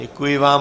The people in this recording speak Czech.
Děkuji vám.